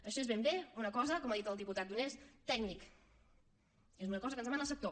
això és ben bé una cosa com ha dit el diputat donés tècnica és una cosa que ens demana el sector